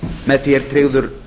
með því er tryggður